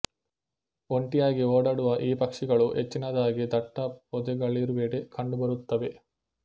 ಒಂಟಿಯಾಗಿ ಓಡಾಡುವ ಈ ಪಕ್ಷಿಗಳು ಹೆಚ್ಚಿನದಾಗಿ ದಟ್ಟ ಪೊದೆಗಳಿರುವೆಡೆ ಕಂಡುಬರುತ್ತವೆ